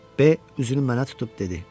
B üzünü mənə tutub dedi: